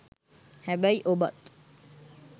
හැබැයි ඔබත්